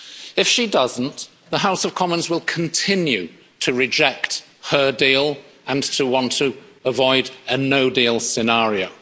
If she doesn't, the House of Commons will continue to reject her deal and to want to avoid a no-deal scenario.